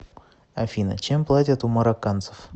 афина чем платят у марокканцев